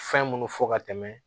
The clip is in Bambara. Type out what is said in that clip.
Fɛn minnu fɔ ka tɛmɛ